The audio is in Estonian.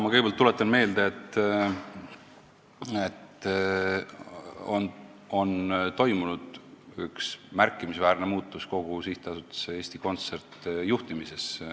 Ma kõigepealt tuletan meelde, et on toimunud üks märkimisväärne muutus kogu SA Eesti Kontsert juhtimises.